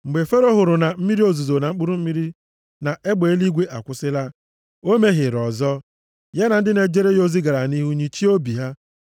Mgbe Fero hụrụ na mmiri ozuzo na mkpụrụ mmiri na egbe eluigwe akwụsịla, o mehiere ọzọ. Ya na ndị na-ejere ya ozi gara nʼihu nyịchie obi ha.